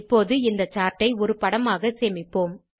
இப்போது இந்த சார்ட் ஐ ஒரு படமாக சேமிப்போம்